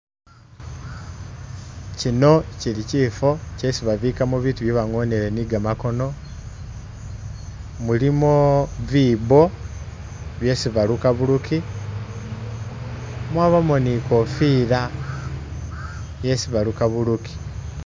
Kino kili kifwo kyesi babikamo bitu byesi bangonele ni gamakono, mulimo bibo byesi baluka buluki, mwabamo ni i'kofila yesi baluka buluki.